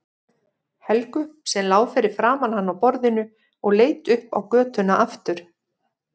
Helgu sem lá fyrir framan hann á borðinu og leit upp á götuna aftur.